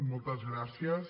moltes gràcies